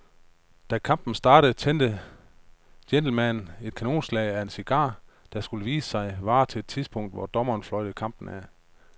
Da kampen startede tændte gentlemanen et kanonslag af en cigar, der, skulle det vise sig, varede til det tidspunkt, hvor dommeren fløjtede kampen af.